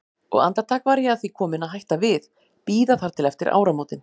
Og andartak var ég að því komin að hætta við, bíða þar til eftir áramótin.